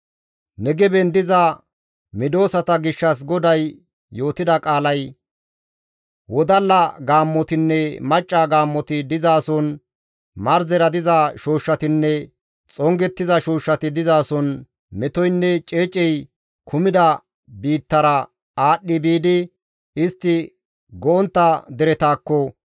Negeben diza medosata gishshas GODAY yootida qaalay wodalla gaammotinne macca gaammoti dizason, marzera diza shooshshatinne xongettiza shooshshati dizason, metoynne ceecey kumida biittara aadhdhi biidi, istti go7ontta deretakko,